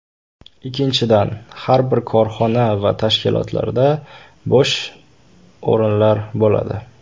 Ikkinchidan, har bir korxona va tashkilotlarda bo‘sh o‘rinlar bo‘ladi.